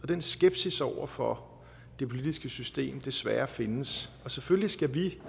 den skepsis over for det politiske system desværre findes selvfølgelig skal vi